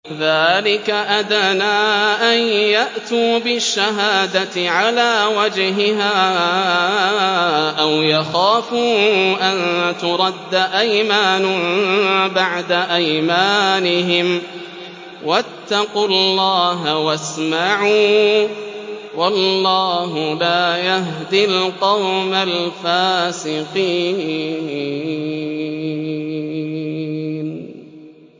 ذَٰلِكَ أَدْنَىٰ أَن يَأْتُوا بِالشَّهَادَةِ عَلَىٰ وَجْهِهَا أَوْ يَخَافُوا أَن تُرَدَّ أَيْمَانٌ بَعْدَ أَيْمَانِهِمْ ۗ وَاتَّقُوا اللَّهَ وَاسْمَعُوا ۗ وَاللَّهُ لَا يَهْدِي الْقَوْمَ الْفَاسِقِينَ